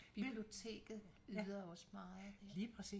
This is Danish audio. Biblioteket yder også meget